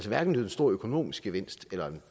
hverken en stor økonomisk gevinst eller en